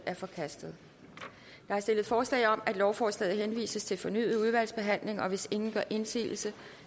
er forkastet der er stillet forslag om at lovforslaget henvises til fornyet udvalgsbehandling og hvis ingen gør indsigelse